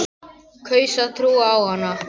Kaus að trúa á hana.